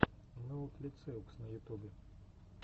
ноутлициокс на ютубе